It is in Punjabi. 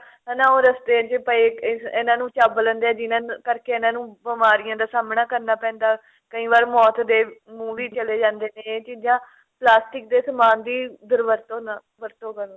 ਹਨਾ ਉਹ ਰਸਤੇ ਚ ਪਏ ਇਹਨਾ ਨੂੰ ਚੱਬ ਲੈਂਦੇ ਆ ਜਿੰਨਾ ਕਰਕੇ ਇਨ੍ਹਾਂ ਨੂੰ ਬਿਮਾਰੀਆਂ ਦਾ ਸਾਹਮਨਾ ਕਰਨਾ ਪੈਂਦਾ ਕਈ ਵਾਰ ਮੌਤ ਦੇ ਮੁੰਹ ਵੀ ਚਲੇ ਜਾਂਦੇ ਨੇ ਇਹ ਚੀਜ਼ਾਂ ਪਲਾਸਟਿਕ ਦੇ ਸਮਾਨ ਦੀ ਦੁਰਵਰਤੋਂ ਨਾ ਵਰਤੋਂ ਕਰਨ